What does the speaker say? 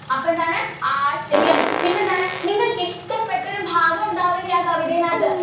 അപ്പൊ എന്താണ് ആശയം. പിന്നെന്താണ്? നിങ്ങൾക്കിഷ്ടപ്പെട്ട ഒരു ഭാഗം ഉണ്ടാവില്ലേ ആ കവിതേനകത്ത്?